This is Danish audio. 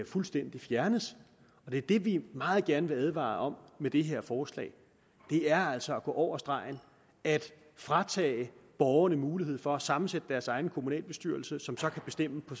fuldstændig fjernes det er det vi meget gerne vil advare om med det her forslag det er altså at gå over stregen at fratage borgerne mulighed for at sammensætte deres egen kommunalbestyrelse som så kan bestemme på